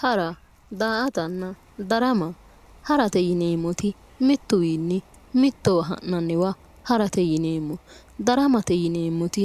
Hara daa"ata ,darama ,harate yineemmoti mitu wiini mittowa ha'nanniwa harate yinneemmo daramate yinneemmoti